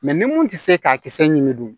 ni mun tɛ se k'a kisɛ ɲugu